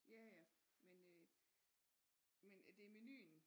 Ja ja men øh men det er menuen